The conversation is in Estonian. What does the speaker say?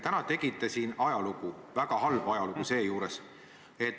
Täna tegite te siin ajalugu, seejuures väga halba ajalugu.